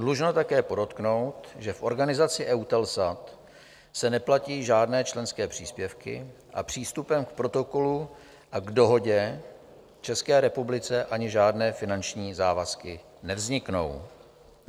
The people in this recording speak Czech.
Dlužno také podotknout, že v organizaci EUTELSAT se neplatí žádné členské příspěvky a přístupem k Protokolu a k Dohodě České republice ani žádné finanční závazky nevzniknou.